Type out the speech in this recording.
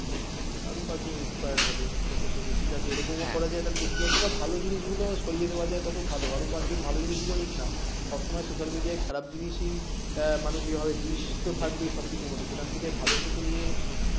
আরও পাঁচজন inspired হবে এটা থেকে যে ঠিক আছে এরকম করা যায় তাহলে দেখি যতটা ভালো জিনিস গুলো সরিয়ে নেয়া যায় তত ভালো আর পাঁচজন ভালো জিনিসগুলো নিক না সব সময় social media য় খারাপ জিনিসই আহ মানুষ এভাবে বিশ তো থাকবেই সবকিছুর মধ্যে সেখান থেকে ভালো টুকু নিয়ে